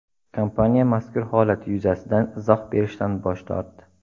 Kompaniya mazkur holat yuzasidan izoh berishdan bosh tortdi.